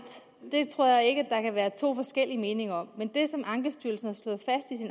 det tror jeg ikke at der kan være to forskellige meninger om men det ankestyrelsen